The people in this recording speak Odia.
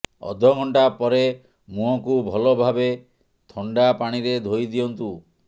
ଅଧଘଣ୍ଟା ପରେ ମୁହଁକୁ ଭଲଭାବେ ଥଣ୍ଡା ପାଣିରେ ଧୋଇ ଦିଅନ୍ତୁ